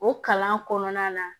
O kalan kɔnɔna na